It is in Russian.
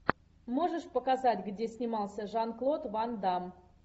можешь показать где снимался жан клод ван дам